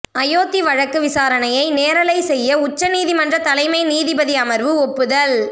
அயோத்தி வழக்கு விசாரணையை நேரலை செய்ய உச்சநீதிமன்ற தலைமை நீதிபதி அமர்வு ஒப்புதல்